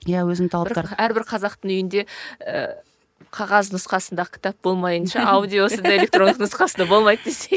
иә өзінің талаптары бір әрбір қазақтың үйінде ііі қағаз нұсқасында кітап болмайынша аудиосы да электронды нұсқасы да болмайды десей